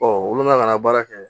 olu la kana baara kɛ